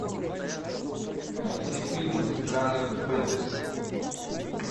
найти фильмы жанр фэнтези